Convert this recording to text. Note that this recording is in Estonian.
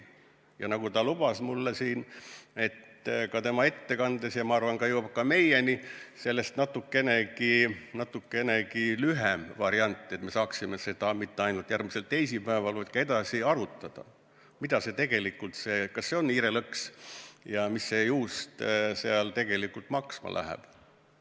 Veel loodan, et nagu ta mulle siin lubas ja oma ettekandes ka, et meieni jõuab sellest ülevaatest natukene lühem variant, et me saaksime mitte ainult järgmisel teisipäeval, vaid ka hiljem arutada, mida see ikkagi tähendab: kas see on hiirelõks ja mida see juust selles tegelikult maksma läheb.